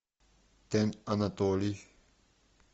тен анатолий